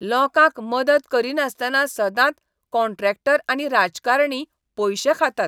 लोकांक मदत करिनासतना सदांच कॉन्ट्रॅक्टर आनी राजकारणी पयशे खातात.